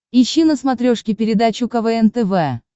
ищи на смотрешке передачу квн тв